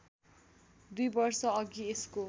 २ वर्षअघि यसको